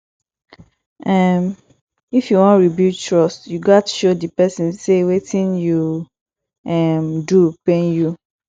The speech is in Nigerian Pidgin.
um if yu wan rebuild trust yu gats show di pesin say wetin you um do pain you